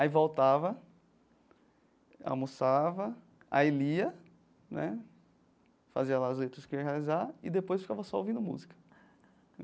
Aí voltava, almoçava, aí lia né, fazia lá a que ia realizar e depois ficava só ouvindo música.